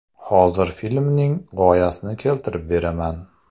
Hozir filmning g‘oyasini keltirib beraman.